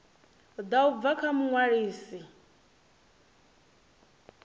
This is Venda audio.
ḓa u bva kha muṅwalisi